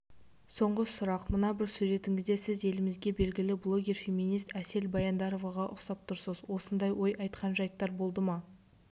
соңғы сұрақ мына бір суретіңізде сіз елімізде белгілі блогер феминист әсел баяндароваға ұқсап тұрсыз осындай ой айтқан жайттар болды ма